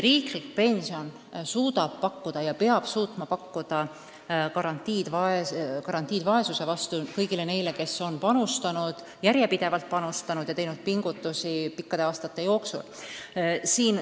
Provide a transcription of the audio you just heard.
Riiklik pension suudab pakkuda ja peab suutma pakkuda garantiid vaesuse vastu kõigile neile, kes on järjepidevalt panustanud ja teinud pingutusi pikkade aastate jooksul.